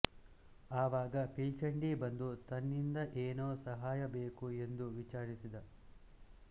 ಆವಾಗ ಪಿಲ್ಚಂಡಿ ಬಂದು ತನ್ನಿಂದ ಏನು ಸಹಾಯ ಬೇಕು ಎಂದು ವಿಚಾರಿಸಿದ